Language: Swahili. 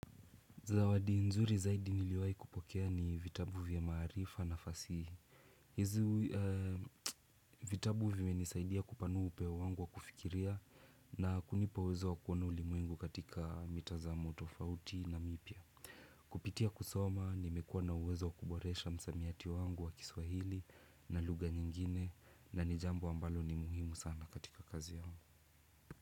Zawadi nzuri zaidi niliwahi kupokea ni vitabu vya maarifa na fasihi. Hizi vitabu vimenisaidia kupanua upeo wangu wa kufikiria na kunipa uwezo wa kuona ulimwengu katika mitazamo tofauti na mipya. Kupitia kusoma, nimekuwa na uwezo wa kuboresha msamiati wangu wa kiswahili na lugha nyingine na ni jambo ambalo ni muhimu sana katika kazi yangu.